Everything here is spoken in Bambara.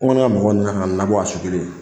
ne ka mɔgɔw nana ka na n labɔ a su kelen.